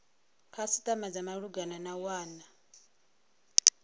khasitama dza malugana na wana